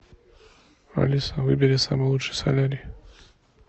алиса выбери самый лучший солярий